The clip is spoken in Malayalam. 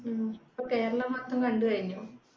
ങ്‌ഹും ഇപ്പം കേരളം മാത്രം കണ്ടു കഴിഞ്ഞു